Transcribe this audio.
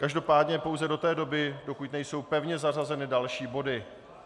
Každopádně pouze do té doby, dokud nejsou pevně zařazeny další body.